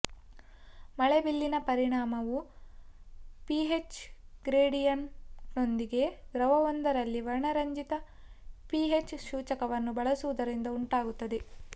ಮಳೆಬಿಲ್ಲಿನ ಪರಿಣಾಮವು ಪಿಹೆಚ್ ಗ್ರೇಡಿಯಂಟ್ನೊಂದಿಗೆ ದ್ರವವೊಂದರಲ್ಲಿ ವರ್ಣರಂಜಿತ ಪಿಹೆಚ್ ಸೂಚಕವನ್ನು ಬಳಸುವುದರಿಂದ ಉಂಟಾಗುತ್ತದೆ